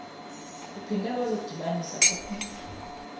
uphinde wazidibanisa kokunye